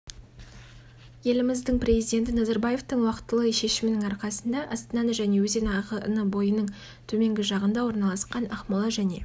еліміздің президенті назарбаевтың уақытылы шешімінің арқасында астананы және өзен ағыны бойының төменгі жағында орналасқан ақмола және